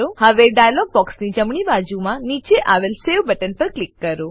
હવે ડાયલોગ બોક્સની જમણી બાજુમાં નીચે આવેલ સવે બટન પર ક્લિક કરો